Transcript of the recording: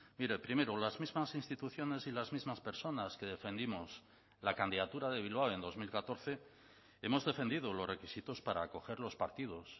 mire primero las mismas instituciones y las mismas personas que defendimos la candidatura de bilbao en dos mil catorce hemos defendido los requisitos para acoger los partidos